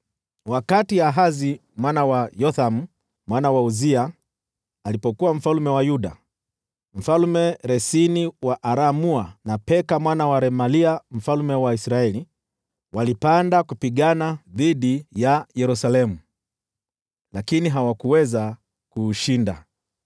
Wakati Ahazi mwana wa Yothamu, mwana wa Uzia, alipokuwa mfalme wa Yuda, Mfalme Resini wa Aramu, na Peka mwana wa Remalia mfalme wa Israeli walipanda kupigana dhidi ya Yerusalemu, lakini hawakuweza kuushinda.